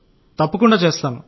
అవును సార్